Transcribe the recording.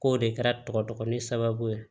K'o de kɛra tɔgɔdogo sababu ye